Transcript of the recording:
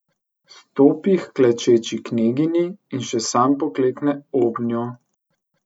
Stopi h klečeči kneginji in še sam poklekne obnjo.